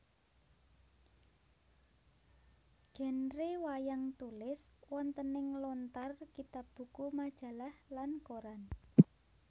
Genre wayang tulis wontening lontar kitab buku majalah lan koran